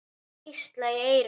Hvísla í eyru þín.